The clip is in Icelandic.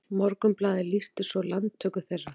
Morgunblaðið lýsti svo landtöku þeirra